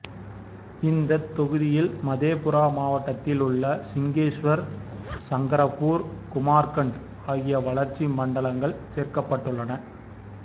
இந்த தொகுதியில் மதேபுரா மாவட்டத்தில் உள்ள சிங்கேஷ்வர் சங்கர்பூர் குமார்கண்டு ஆகிய வளர்ச்சி மண்டலங்கள் சேர்க்கப்பட்டுள்ளன